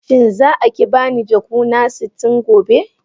Shin za a ki ba ni jakuna sitin gobe?